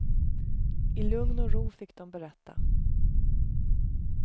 I lugn och ro fick de berätta.